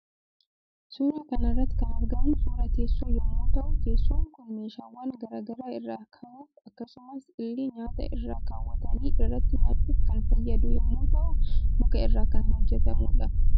Suuraa kanarratti kan argamu suuraa teessoo yommuu ta'u teessoon Kuni meeshawwan garaa garaa irra kaahuf akkasumas illee nyaata irra kawwatani irratti nyaachuf kan fayyadu yommuu ta'u muka irra kan hojjetamudha